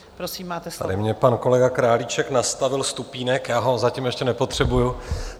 Tady mi pan kolega Králíček nastavil stupínek, já ho zatím ještě nepotřebuji.